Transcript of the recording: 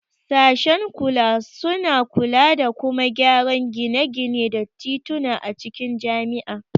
Sashen kula suna kula da kuma gyara gine-gine da tituna a cikin jami'a.